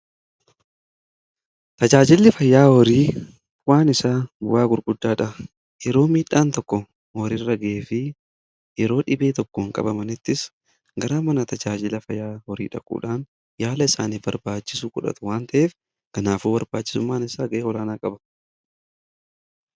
tajaajilli fayyaa horii bu'aan isaa bu'aa gurguddaadha. yeroo miidhaan tokko m Horii gahe fi yeroo dhibee tokkoon qabamanittis garaa mana tajaajila fayyaa horii dhaquudhaan yaala isaaniif barbaachisu fudhatu waan ta'eef kanaafuu barbaachisummaan isaa gahee olaanaa qaba.